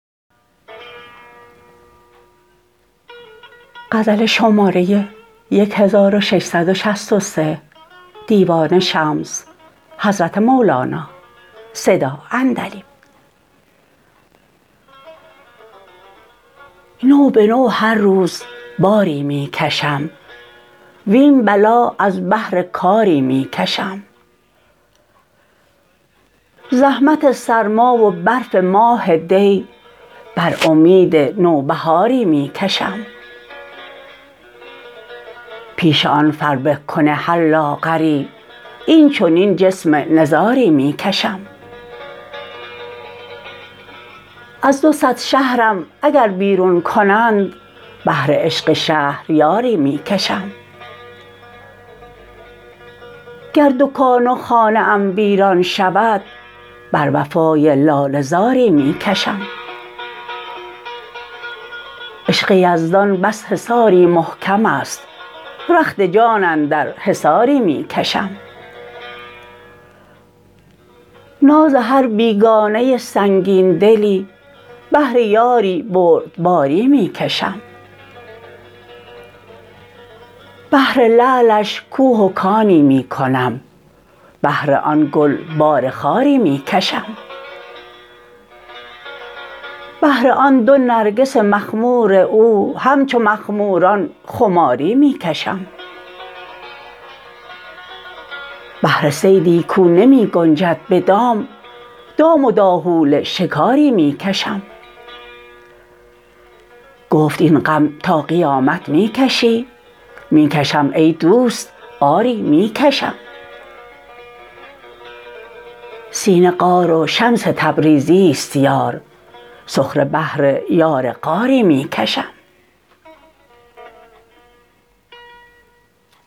نو به نو هر روز باری می کشم وین بلا از بهر کاری می کشم زحمت سرما و برف ماه دی بر امید نوبهاری می کشم پیش آن فربه کن هر لاغری این چنین جسم نزاری می کشم از دو صد شهرم اگر بیرون کنند بهر عشق شهریاری می کشم گر دکان و خانه ام ویران شود بر وفای لاله زاری می کشم عشق یزدان پس حصاری محکم است رخت جان اندر حصاری می کشم ناز هر بیگانه سنگین دلی بهر یاری بردباری می کشم بهر لعلش کوه و کانی می کنم بهر آن گل بار خاری می کشم بهر آن دو نرگس مخمور او همچو مخموران خاری می کشم بهر صیدی کو نمی گنجد به دام دام و داهول شکاری می کشم گفت ای غم تا قیامت می کشی می کشم ای دوست آری می کشم سینه غار و شمس تبریزی است یار سخره بهر یار غاری می کشم